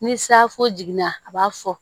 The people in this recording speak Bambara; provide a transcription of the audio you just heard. Ni safo jiginna a b'a fɔ